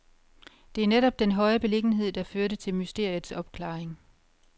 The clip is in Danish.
Det er netop den høje beliggenhed, der førte til mysteriets opklaring.